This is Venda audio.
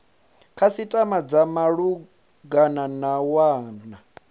khasitama dza malugana na wana